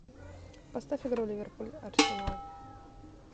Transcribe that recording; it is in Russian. поставь игру ливерпуль арсенал